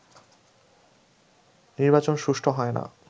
নির্বাচন সুষ্ঠু হয় না